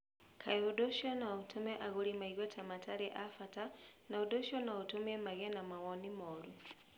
Kaingĩ ũndũ ũcio no ũtũme agũri meigue ta matarĩ a bata, na ũndũ ũcio no ũtũme magĩe na mawoni moru.